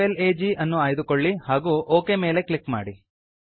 PWR FLAG ಅನ್ನು ಆಯ್ದುಕೊಳ್ಳಿ ಹಾಗೂ ಒಕ್ ಮೇಲೆ ಕ್ಲಿಕ್ ಮಾಡಿ